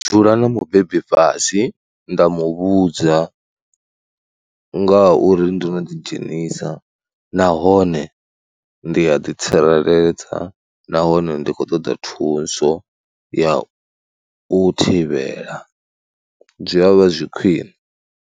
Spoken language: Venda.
Dzula na mubebi fhasi nda mu vhudza ngauri ndo no ḓi dzhenisa nahone ndi a ḓitsireledza nahone ndi khou ṱoḓa thuso ya u thivhela, zwi a vha zwi khwine.